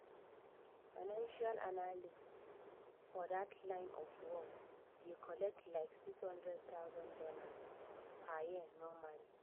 financial analyst for that line of work dey collect like $60000 per year normally